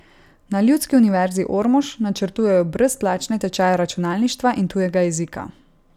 Na Ljudski univerzi Ormož načrtujejo brezplačne tečaje računalništva in tujega jezika.